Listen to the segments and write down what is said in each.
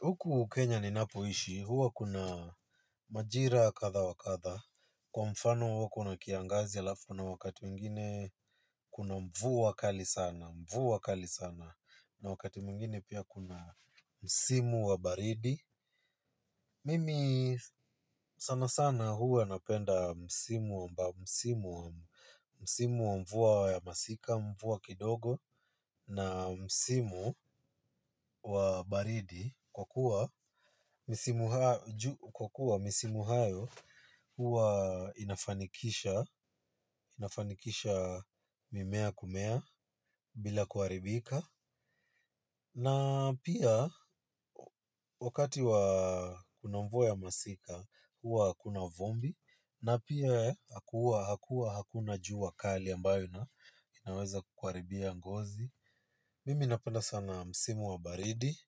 Huku Kenya ninapoishi, huwa kuna majira kadha wa kadha. Kwa mfano huwa kuna kiangazi halafu kuna wakati mwingine kuna mvua kali sana. Mvua kali sana. Na wakati mwingine pia kuna. Msimu wa baridi. Mimi sana sana huwa napenda msimu wa mvua ya masika, mvua kidogo. Na msimu wa baridi kwa kuwa misimu hayo huwa inafanikisha mimea kumea bila kuharibika. Na pia wakati wa kuna mvua ya masika huwa hakuna vumbi na pia hakuna hakuna jua kali ambayo ina inaweza kukuharibia ngozi. Mimi napenda sana msimu wa baridi.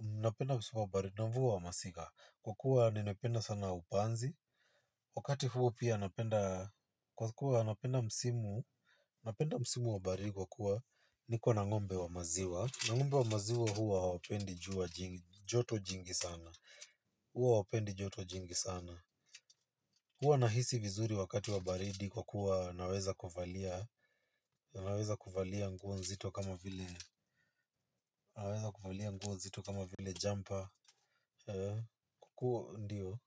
Napenda msimu wa baridi na mvua wa masika. Kwa kuwa ninapenda sana upanzi. Wakati huo pia napenda kwa kuwa napenda msimu napenda msimu wa baridi kwa kuwa niko na ng'ombe wa maziwa na ng'ombe wa maziwa huwa hawapendi joto jingi sana. Huwa hawwpendi joto jingi sana. Huwa nahisi vizuri wakati wa baridi kwa kuwa naweza kuvalia naweza kuvalia nguo nzito kama vile naweza kuvalia nguo nzito kama vile jumper kwa kuwa ndiyo.